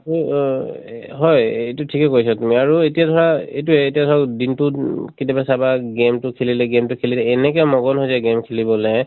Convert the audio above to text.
হয় এইটো ঠিকে কৈছা তুমি আৰু এতিয়া ধৰা এইটোয়ে এতিয়া দিন টোত উম কেতিয়াবা চাবা game টো খেলিলে, game টো খেলি এনেকে মগন হৈ যায় game খেলিবলে